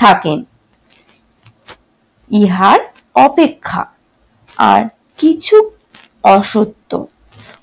থাকেন। ইহার অপেক্ষা আর কিছুক অসত্য